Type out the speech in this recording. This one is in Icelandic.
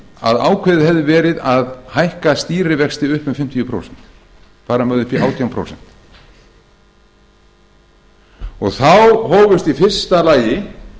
að ákveðið hefði verið að hækka stýrivexti upp um fimmtíu prósent fara með þá upp í átján prósent þá hófust í fyrsta lagi